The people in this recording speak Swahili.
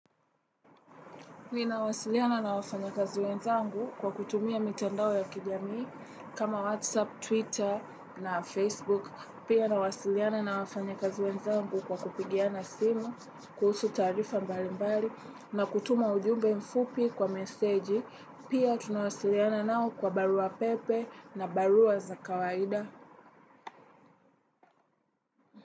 Nina wasiliana na wafanyakazi wenzangu kwa kutumia mitandao ya kijamii kama Whatsapp, Twitter na Facebook. Pia nawasiliana na wafanyakazi wenzangu kwa kupigiana simu, kuhusu taarifa mbalimbali na kutuma ujumbe mfupi kwa meseji. Pia tunawasiliana nao kwa barua pepe na barua za kawaida.